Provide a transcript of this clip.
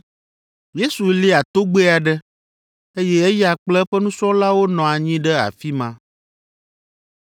Yesu lia togbɛ aɖe, eye eya kple eƒe nusrɔ̃lawo nɔ anyi ɖe afi ma.